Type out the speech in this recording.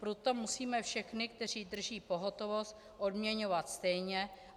Proto musíme všechny, kteří drží pohotovost, odměňovat stejně.